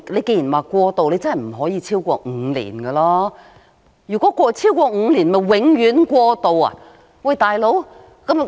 既然是過渡，便不能超過5年，否則豈非變成"永遠過渡"，"老兄"？